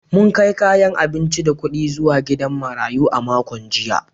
Mun kai kayan abinci da kudi zuwa gidan marayu a makon jiya.